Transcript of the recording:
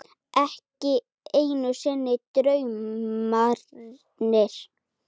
Ekki einu sinni draumarnir.